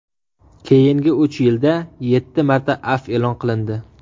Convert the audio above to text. Keyingi uch yilda yetti marta afv e’lon qilindi.